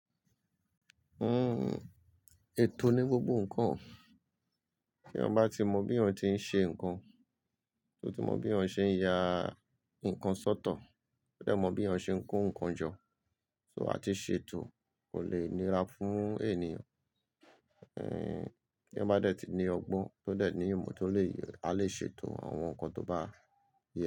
Ètò ni gbogbo ǹkan. Ti eeyan ba tí mọ bí eeyan ti ń ṣe ǹkan, tó ti mọ bí eeyan ṣe ń ya ǹkan sọ́tọ̀, tó dẹ̀ mọ bí eeyan ṣe ń kó ǹkan jọ, so a ti ṣe ètò kò lè nira fún ènìyàn. Tí eeyan ba dè tí ní ọgbọ́n tó dẹ̀ ní ìmọ̀ tó lè, a lè ṣe ètò àwọn ǹkan tó bá yẹ.